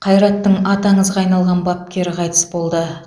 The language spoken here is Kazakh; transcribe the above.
қайраттың аты аңызға айналған бапкері қайтыс болды